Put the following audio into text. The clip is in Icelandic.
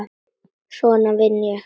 Svona vinn ég.